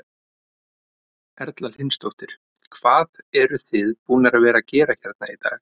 Erla Hlynsdóttir: Hvað eruð þið búnar að vera að gera hérna í dag?